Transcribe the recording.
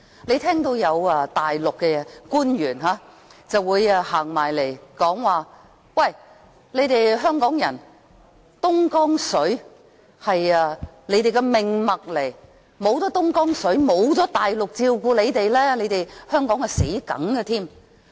你聽到有大陸官員說，東江水是香港人的命脈，沒有東江水，沒有大陸照顧香港人，香港死路一條。